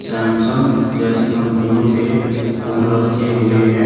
Samsung जैसी कंपनियों के फोन रखे हुए हैं।